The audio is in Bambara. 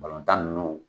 Balontan ninnu